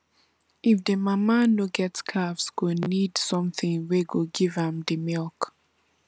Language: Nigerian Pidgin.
if the mama no dey calves go need something wey go give dem milk